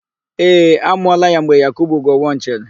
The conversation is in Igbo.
Ee, a mụọla ya mgbe Yakubu Gowọn chịrị.